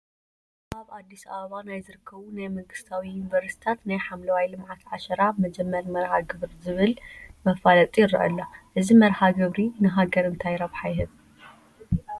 ኣብ ኣዲስ ኣበባ ናይ ዝርከቡ ናይ መንግስቲ ዩኒቨርሲቲታት ናይ ሓምለዋይ ልምዓት ዓሸራ መጀመሪ መርሃ ግብሪ ዝፍል መፋለጢ ይርአ ኣሎ፡፡ እዚ መርሃ ግብሪ ንሃገር እንታይ ረብሓ ይህብ?